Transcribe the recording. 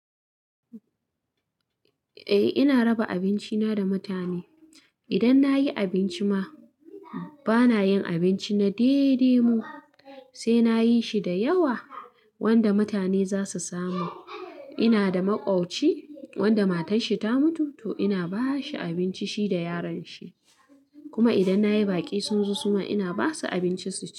Eh ina raba abinci na da mutane. Idan nayi abinci ma bana yin abinci na dai-dai mi sai nayi shi da yawa wanda mutane zasu samu. Ina da maƙwabci wanda matarshi ta mutu to ina bashi abinci shi da yaron shi. Kuma idan nayi baƙi sun zo suma ina basu abinci su ci.